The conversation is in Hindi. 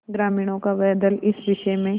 ग्रामीणों का वह दल इस विषय में